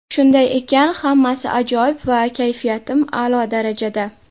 Shunday ekan, hammasi ajoyib va kayfiyatim a’lo darajada.